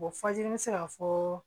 fajiri n be se ka fɔɔ